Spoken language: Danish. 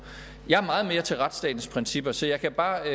jeg er meget mere til retsstatens principper så jeg kan bare